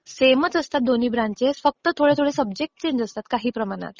सेमच असतात दोन्ही ब्रॅंचेस फक्त थोडे थोडे सब्जेक्टस चेंज असतात काही प्रमाणात.